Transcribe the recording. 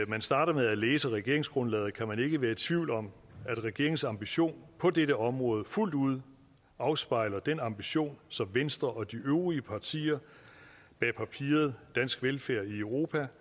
man starter med at læse regeringsgrundlaget kan man ikke være i tvivl om at regeringens ambition på dette område fuldt ud afspejler den ambition som venstre og de øvrige partier bag papiret dansk velfærd i europa